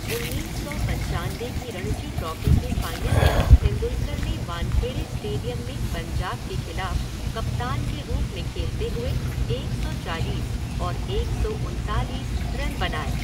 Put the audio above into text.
उन्नीस सौ पंचानबे की रणजी ट्रॉफ़ी के फ़ाइनल में तेंदुलकर ने वानखेड़े स्टेडियम में पंजाब के खिलाफ कप्तान के रूप में खेलते हुए एक सौ चालीस और एक सौ उनतालीस रन बनाए।